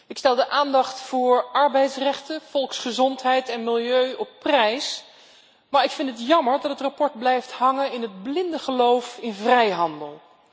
Ik stel de aandacht voor arbeidsrechten, volksgezondheid en milieu op prijs, maar ik vind het jammer dat het verslag blijft hangen in het blinde geloof in vrijhandel.